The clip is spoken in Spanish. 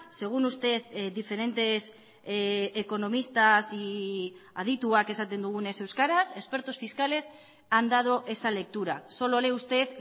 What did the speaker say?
según usted diferentes economistas y adituak esaten dugunez euskaraz expertos fiscales han dado esa lectura solo lee usted